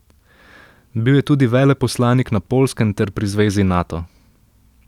Bil je tudi veleposlanik na Poljskem ter pri zvezi Nato.